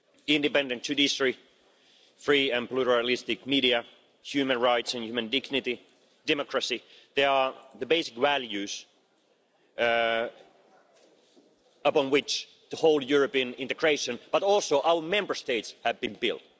Independent judiciary, free and pluralistic media, human rights and human dignity, democracy these are the basic values upon which European integration, but also our Member States, have been built.